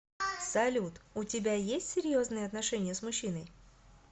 салют у тебя есть серьезные отношения с мужчиной